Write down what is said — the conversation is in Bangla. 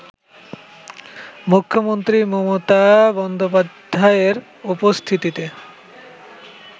মুখ্যমন্ত্রী মমতা বন্দ্যোপাধ্যায়ের উপস্থিতিতে